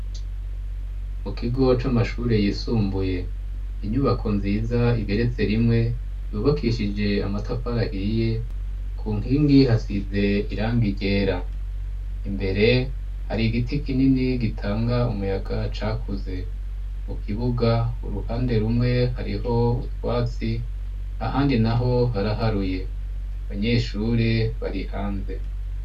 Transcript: mu kigo c'amashure yisumbuye inyubako nziza igeretse rimwe yubakishije amatafari ahiye ku nkingi hasize irangi ryera imbere hari igiti kinini gitanga umuyaga cakuze mu kibuga uruhande rumwe hariho ubutwatsi ahandi naho haraharuye abanyeshure bari hanze